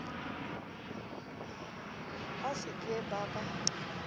ba se ke ba ba